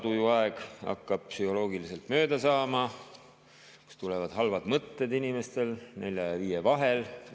Tusatuju aeg hakkab psühholoogiliselt mööda saama, halvad mõtted tulevad inimestel kella nelja ja viie vahel.